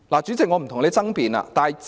主席，我不跟你爭辯。